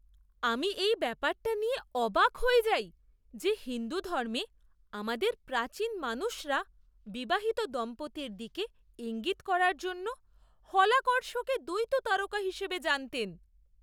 আমি এই ব্যপারটা নিয়ে অবাক হয়ে যাই যে হিন্দু ধর্মে আমাদের প্রাচীন মানুষরা বিবাহিত দম্পতির দিকে ইঙ্গিত করার জন্য হলাকর্ষকে দ্বৈত তারকা হিসেবে জানতেন।